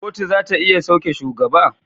Kotu zata iya sauke shugaba